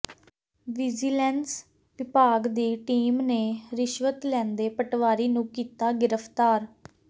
vigilance ਵਿਭਾਗ ਦੀ team ਨੇ ਰਿਸ਼ਵਤ ਲੈਂਦੇ ਪਟਵਾਰੀ ਨੂੰ ਕੀਤਾ ਗ੍ਰਿਫਤਾਰ